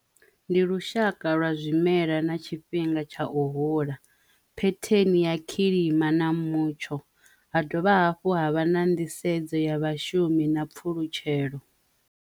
Ndi lushaka lwa zwimela na tshifhinga tsha u hula phetheni ya kilima na mutsho ha dovha hafhu ha vha na nḓisedzo ya vhashumi na pfhulutshelo.